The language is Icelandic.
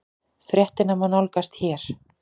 Fréttina má nálgast hér